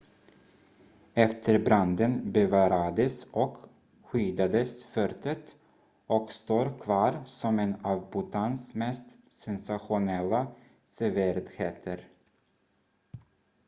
efter branden bevarades och skyddades fortet och står kvar som en av bhutans mest sensationella sevärdheter